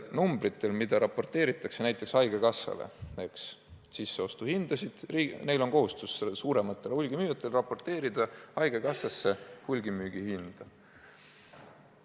Suurematel hulgimüüjatel on kohustus raporteerida haigekassale sisseostuhinnad ja hulgimüügihinnad.